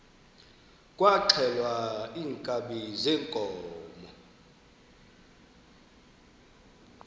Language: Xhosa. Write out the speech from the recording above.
kwaxhelwa iinkabi zeenkomo